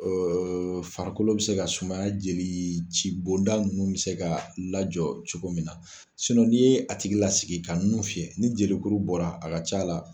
farikolo bɛ se ka sumaya jeli ci bonda ninnu bɛ se ka lajɔ cogo min na n'i ye a tigi lasigi ka nun fiyɛ ni jeli kuru bɔra a ka c'a la